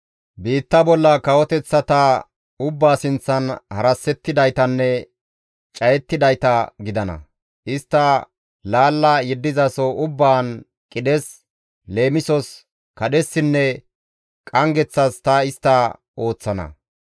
Biitta bolla kawoteththata ubbaa sinththan harassettizaytanne cayettidayta gidana; istta laalla yeddizaso ubbaan istti qidhes, leemisos, kadhessinne qanggeththas ta istta ooththana.